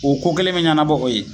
O ko kelen be ɲɛnabɔ o ye